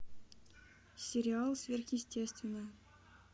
сериал сверхъестественное